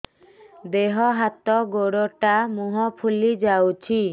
ଦେହ ହାତ ଗୋଡୋ ମୁହଁ ଫୁଲି ଯାଉଛି